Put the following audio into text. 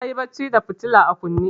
Na yi barci da fitila a kunne.